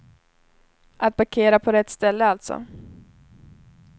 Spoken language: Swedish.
Att parkera på rätt ställe, alltså.